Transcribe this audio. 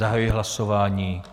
Zahajuji hlasování.